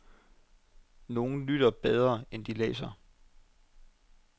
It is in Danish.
Nogen lytter bedre end de læser.